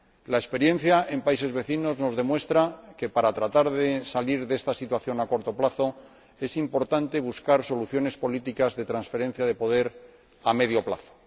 La experiencia en países vecinos nos demuestra que, para tratar de salir de esta situación a corto plazo, es importante buscar soluciones políticas de transferencia de poder a medio plazo.